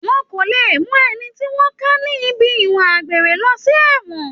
Wọn kò le mú ẹni tí wọ́n ká ní ibi ìwà àgbèrè lọ sí ẹ̀wọ̀n